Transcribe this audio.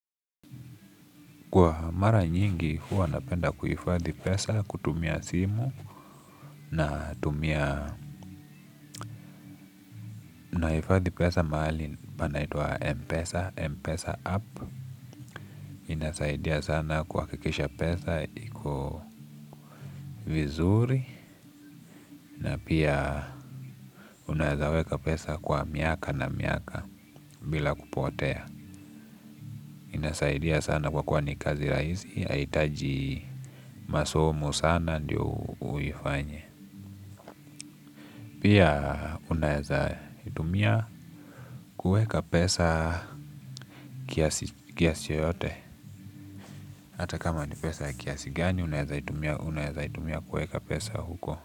Kwa mara nyingi, huwa napenda kuhifadhi pesa, kutumia simu, na tumia, nahifadhi pesa mahali panaitwa Mpesa, Mpesa App. Inasaidia sana kuha kikisha pesa, iko vizuri, na pia unawezaweka pesa kwa miaka na miaka, bila kupotea. Inasaidia sana kwa kuwani kazi rahisi, haihitaji masomo sana, ndio uifanye. Pia unaeza itumia kuweka pesa kiasi yoyote. Hata kama ni pesa kiasi gani unaeza itumia kuweka pesa huko.